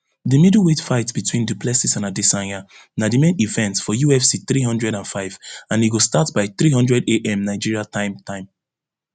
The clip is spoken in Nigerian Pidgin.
di middleweight fight between du plessis and adesanya na di main event for ufc three hundred and five and e go start by three hundredam nigeria time time